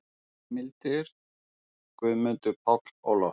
Heimildir: Guðmundur Páll Ólafsson.